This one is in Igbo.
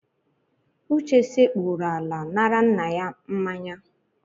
Uche sekpuuru ala nara nna ya mmanya.